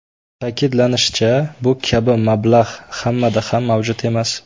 Ta’kidlanishicha, bu kabi mablag‘ hammada ham mavjud emas.